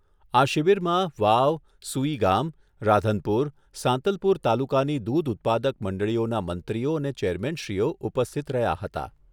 આ શિબિરમાં વાવ, સૂઈગામ, રાધનપુર, સાંતલપુર તાલુકાની દૂધ ઉત્પાદક મંડળીઓના મંત્રીઓ અને ચેરમેનશ્રીઓ ઉપસ્થિત રહ્યા હતા.